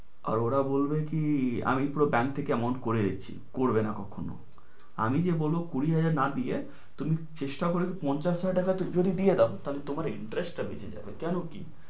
আর ওরা বলবে কি আমি পুরো bank থেকে amount করে দিচ্ছি। করবে না কখনো। আমি যে বলবো তুমি কুড়ি হাজার না দিয়ে তুমি চেষ্টা করে পঞ্চাশ হাজার টাকাটা দিয়ে দাও, তোমার interest টা বেঁচে যাবে। কেনো কি